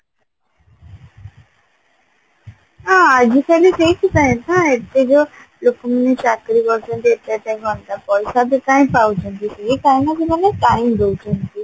ହଁ ଆଜିକାଲି ସେଇଥିପାଇଁ ନା ଏତେ ଯଉ ଲୋକ ମାନେ ଚାକିରି କରୁଛନ୍ତି ଏତେ ଏତେ ଟଙ୍କା ପଇସା ବି କାଇଁ ପାଉଛନ୍ତି ସେଇ କଣ ନା ସେମାନେ time ଦଉଛନ୍ତି